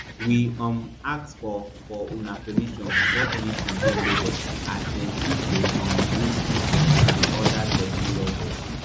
we um ask for for una permission before anytin dey loaded as dem fit dey um use cookies and oda technologies